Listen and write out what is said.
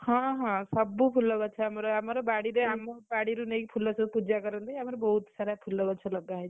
ହଁ ହଁ, ସବୁ ଫୁଲଗଛ ଆମର, ଆମର ବାଡିରେ ଆମ ବଡ଼ିରୁ ନେଇକି ଫୁଲ ସବୁ ପୂଜା କରନ୍ତି ଆମର ବୋହୁତ ସାରା ଫୁଲଗଛ ଲଗାହେଇଛି।